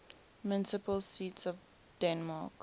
municipal seats of denmark